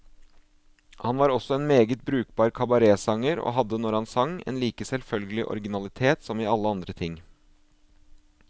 Han var også en meget brukbar kabaretsanger, og hadde, når han sang, en like selvfølgelig originalitet som i alle andre ting.